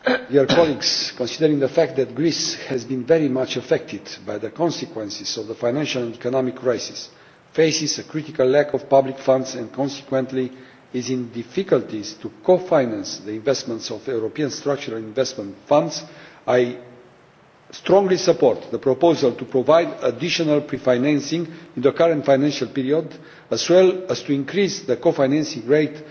Madam President, considering the fact that Greece has been very much affected by the consequences of the financial and economic crisis, that it faces a critical lack of public funds and consequently has difficulties in co financing the investments of the European Structural and Investment Funds, I strongly support the proposal to provide additional pre financing in the current financial period, as well as to increase the co financing rate